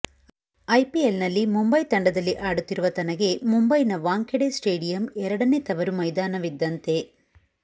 ಐಪಿಎಲ್ನಲ್ಲಿ ಮುಂಬೈ ತಂಡದಲ್ಲಿ ಆಡುತ್ತಿರುವ ತನಗೆ ಮುಂಬೈನ ವಾಂಖೆಡೆ ಸ್ಟೇಡಿಯಂ ಎರಡನೆ ತವರು ಮೈದಾನವಿದ್ದಂತೆ